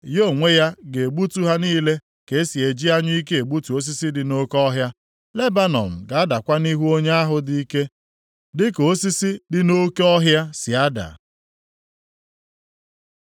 Ya onwe ya ga-egbutu ha niile ka e si eji anyụike egbutu osisi dị nʼoke ọhịa. Lebanọn ga-adakwa nʼihu Onye ahụ dị ike dịka osisi dị nʼoke ọhịa si ada.